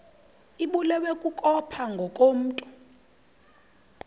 ibulewe kukopha ngokomntu